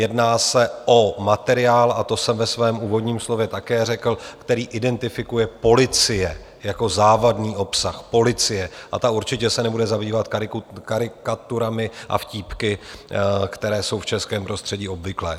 Jedná se o materiál, a to jsem ve svém úvodním slově také řekl, který identifikuje policie jako závadný obsah, policie, a ta určitě se nebude zabývat karikaturami a vtípky, které jsou v českém prostředí obvyklé.